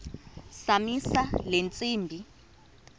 zamisa le ntsimbi